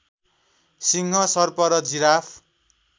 सिंह सर्प र जिराफ